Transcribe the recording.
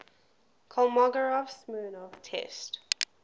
kolmogorov smirnov test